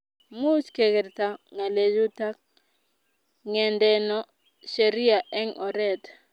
muuch kegerta ngalechuta ngendeno sheria eng oret